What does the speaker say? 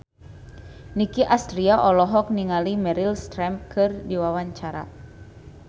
Nicky Astria olohok ningali Meryl Streep keur diwawancara